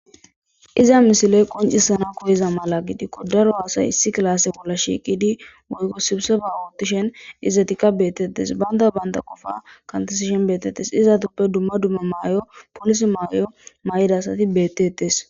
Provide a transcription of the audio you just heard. Iza misile mala qonccisana mala koyiza gidikko daro asayi issi kifilen shiiqidi sibisiba oothishin izetikka bettetes. Bantta bantta qofa kantishin beteetesi. Izetappe dumma dumma mayo polisse mayo mayidayssi beteetes.